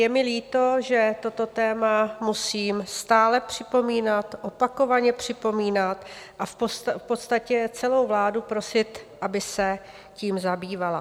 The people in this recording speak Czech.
Je mi líto, že toto téma musím stále připomínat, opakovaně připomínat a v podstatě celou vládu prosit, aby se tím zabývala.